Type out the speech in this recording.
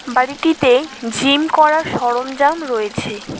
বাড়িটিতে জিম করার সরঞ্জাম রয়েছে।